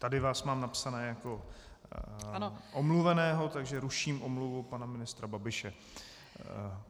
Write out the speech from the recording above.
Tady vás mám napsaného jako omluveného, takže ruším omluvu pana ministra Babiše.